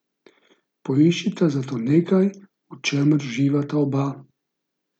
Poiščita zato nekaj, v čemer uživata oba.